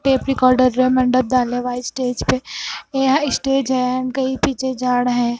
Tape recorder रा मंडप डाले व्हाइट स्टेज पे यहां एक स्टेज है उनके ही पीछे झाड़ है।